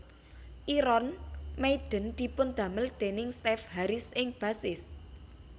Iron Meiden dipundamel déning Steve Harris ing bassist